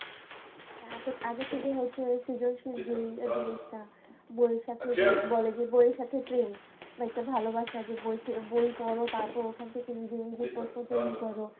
হ্যাঁ আপু আগের থেকে হচ্ছে সৃজনশীল যেই জিনিসটা। বইয়ের সাথে যে বলে যে বইয়ের সাথে প্রেম বা একটা ভালোবাসা যে বই পড় তারপরে ওখান থেকে নিজে নিজে প্রশ্ন তৈরি কর